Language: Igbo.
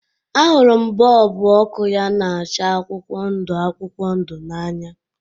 Ahụrụ m bọlbụ ọkụ ya na-acha akwụkwọ ndu akwụkwọ ndu n'anya